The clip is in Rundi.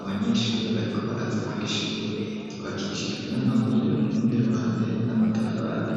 abanyeshuri, bariko baraza kw’ishuri; ryubakishijwe n'amabuye, urundi ruhande, n'amatafari.